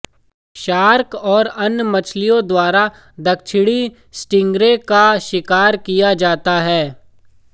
shark और अन्य मछलियों द्वारा दक्षिणी स्टिंग्रे का शिकार किया जाता है